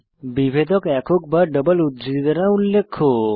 বিভেদক একক বা ডাবল উদ্ধৃতি দ্বারা উল্লেখ্য